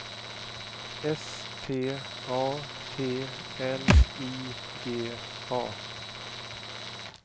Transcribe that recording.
S T A T L I G A